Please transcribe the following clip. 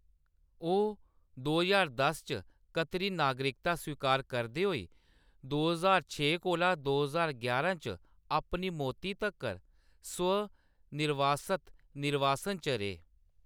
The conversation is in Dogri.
ओह्‌‌ दो ज्हार दस च कतरी नागरिकता स्वीकार करदे होई दो ज्हार छे कोला दो ज्हार यारां च अपनी मौती तक्कर स्व-निर्वासत निर्वासन च रेह्।